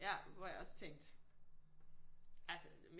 Ja hvor jeg også tænkte altså